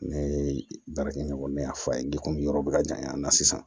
Ne ye baarakɛ ɲɔgɔn bɛɛ y'a fɔ a ye yɔrɔ bɛ ka ɲa a na sisan